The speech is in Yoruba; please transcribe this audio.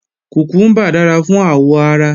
Kùkúmbà dára fún àwọ̀ ara